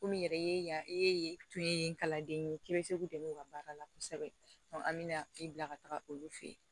Komi yɛrɛ e ye yan e tun ye kalanden ye k'i bɛ se k'u dɛmɛ u ka baara la kosɛbɛ an bɛ na i bila ka taga olu fɛ yen